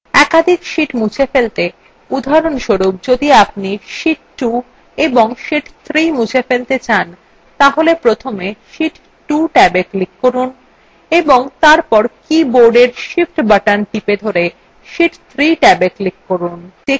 একাধিক sheets মুছে ফেলতে উদাহরণস্বরূপ যদি আপনি sheet 2 এবং sheet 3 মুছে ফেলতে চান তাহলে প্রথমে sheet 2 ট্যাবে click করুন এবং তারপর কীবোর্ডের shift button টিপে ধরে sheet 3 ট্যাবwe click করুন